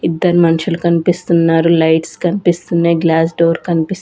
ఇద్దరు మన్షులు కన్పిస్తున్నారు లైట్స్ కన్పిస్తున్నాయ్ గ్లాస్ డోర్ కన్పిస్--